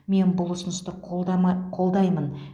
мен бұл ұсынысты қолдама қолдаймын